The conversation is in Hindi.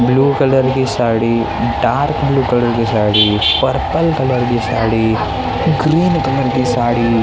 ब्लू कलर की साड़ी डार्क ब्लू कलर की साड़ी पर्पल कलर की साड़ी ग्रीन कलर की साड़ी रेड --